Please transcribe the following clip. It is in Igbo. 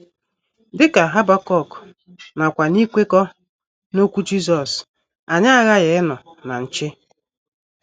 Dị ka Habakuk, nakwa n’ikwekọ n’okwu Jisọs, anyị aghaghị ịnọ na nche!